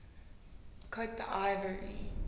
cote d ivoire